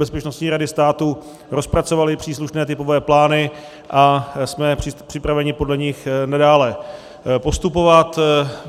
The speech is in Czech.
Bezpečnostní rady státu rozpracovali příslušné typové plány a jsme připraveni podle nich nadále postupovat.